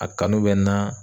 A kanu bɛ n na.